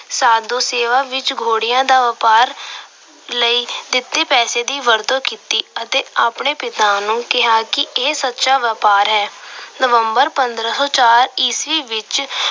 ਸਾਧੂ ਸੇਵਾ ਵਿੱਚ ਘੋੜਿਆਂ ਦੇ ਵਪਾਰ ਲਈ ਦਿੱਤੇ ਪੈਸਿਆਂ ਦੀ ਵਰਤੋਂ ਕੀਤੀ ਅਤੇ ਆਪਣੇ ਪਿਤਾ ਨੂੰ ਕਿਹਾ ਕਿ ਇਹ ਸੱਚਾ ਵਪਾਰ ਹੈ। November ਪੰਦਰਾਂ ਸੌ ਚਾਰ ਈਸਵੀ ਵਿੱਚ